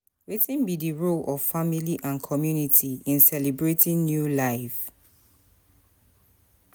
wetin be di role of family and community in celebrating new life?